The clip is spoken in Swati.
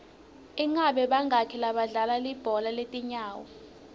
ingabe bangaki badlali belibhola letinyawo